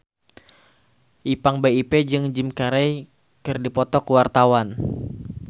Ipank BIP jeung Jim Carey keur dipoto ku wartawan